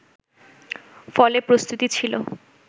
ফলে প্রস্তুতি ছিল